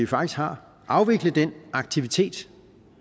faktisk har afvikle den aktivitet